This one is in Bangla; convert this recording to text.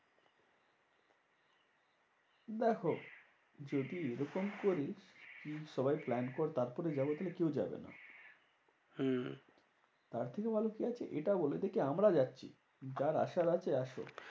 দেখো যদি এরকম করি সবাই plan কর তারপরে যাবো, কেউ যাবে না। হম তার থেকে ভালো কি আছে? এটা বলেদে কি? আমরা যাচ্ছি, কার আসার আছে আসুক।